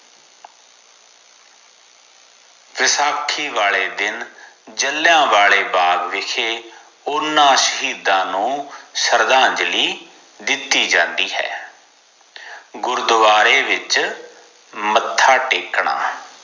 ਵੈਸਾਖੀ ਵਾਲੇ ਦਿਨ ਜਲਿਆਂਵਾਲੇ ਬਾਗ਼ ਵਿਖੇ ਊਨਾ ਸ਼ਹੀਦਾਂ ਨੂੰ ਸ਼ਰਧਾਂਜਲੀ ਦਿਤੀ ਜਾਂਦੀ ਹੈ ਗੁਰਦਵਾਰੇ ਵਿਚ ਮੱਥਾ ਟੇਕਣਾ